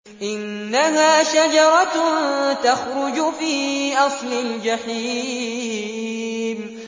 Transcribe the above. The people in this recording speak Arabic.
إِنَّهَا شَجَرَةٌ تَخْرُجُ فِي أَصْلِ الْجَحِيمِ